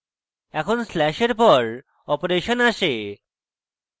এখন স্ল্যাশের পর অপারেশন আসে